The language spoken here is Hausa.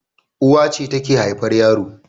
Uwa ce take haifar yaro